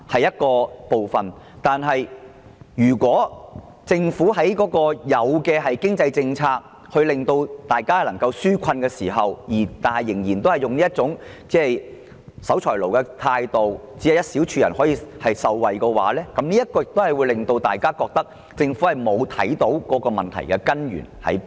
如果政府在制訂經濟上的紓困政策時，仍然抱有這種守財奴的態度，只讓一小撮人受惠，亦會令大家感到政府沒能掌握問題的根源。